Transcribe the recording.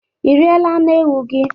Ị riela anụ ewu gị?